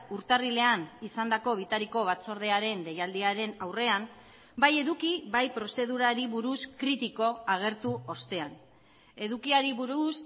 urtarrilean izandako bitariko batzordearen deialdiaren aurrean bai eduki bai prozedurari buruz kritiko agertu ostean edukiari buruz